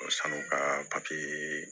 Sanu ka papiye